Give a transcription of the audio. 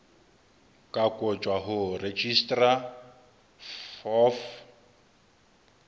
ka kotjwa ho registrar of